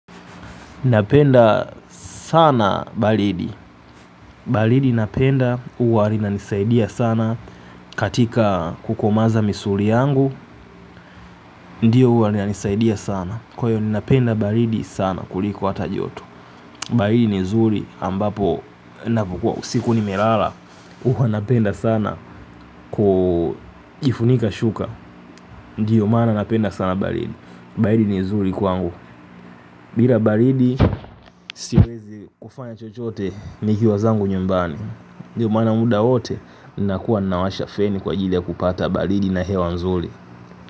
Napenda sana balidi, balidi napenda uwa rinanisaidia sana katika kukomaza misuli yangu, ndiyo uwa inanisaidia sana. Kwa hiyo napenda balidi sana kuliko hata joto, balidi nizuri ambapo siku nimelala uwa napenda sana kujifunika shuka. Ndiyo maana napenda sana balidi, balidi ni zuri kwangu. Bila balidi siwezi kufanya chochote nikiwa zangu nyumbani. Ndiyo maana muda wote ninakuwa nawasha feni kwa ajili ya kupata balidi na hewa mzuli.